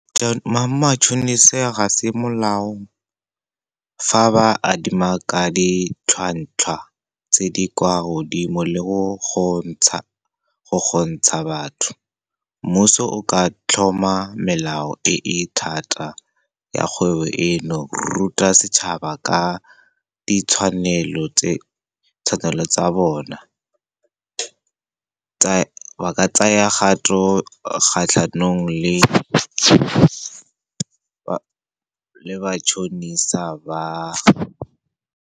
Matšhonisa ga se molao fa ba adima ka ditlhwatlhwa tse di kwa godimo le go gontsha batho. Mmuso o ka tlhoma melao e e thata ya kgwebo eno, ruta setšhaba ka ditshwanelo tsa bona. Ba ka tsaya kgato kgatlhanong le matšhonisa ba.